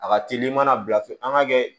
A ka teli i mana bila f an ŋ'a kɛ